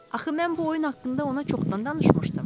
Axı mən bu oyun haqqında ona çoxdan danışmışdım.